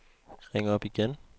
ring op igen